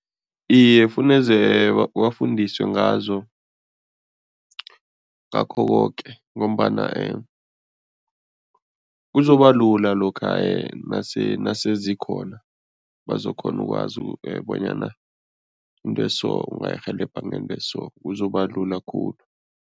Iye, funeze bafundiswe ngazo, ngakho koke ngombana kuzobalula lokha nase nase zikhona, bazokghona ukwazi bonyana into eso ungayirhelebha ngento eso, kuzoba lula khulu.